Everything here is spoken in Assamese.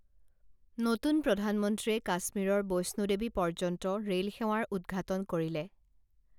নতুন প্ৰধানমন্ত্ৰীয়ে কাশ্মীৰৰ বৈষ্ণুদেৱী পৰ্যন্ত ৰেল সেৱাৰ উদ্ঘাটন কৰিলে